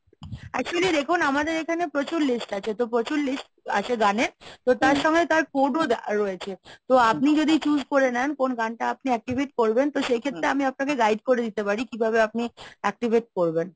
actually দেখুন আমাদের এখানে প্রচুর list আছে তো প্রচুর list আছে গানের। তো তার সঙ্গে তার code ও রয়েছে। তো আপনি যদি choose করে নেন কোন গানটা আপনি activate করবেন তো সেই ক্ষেত্রে আমি আপনাকে guide করে দিতে পারি কিভাবে আপনি activate করবেন?